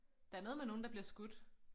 Der er noget med nogen der bliver skudt